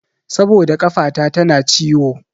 Saboda ƙafata tana ciwo.